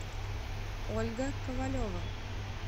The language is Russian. ольга ковалева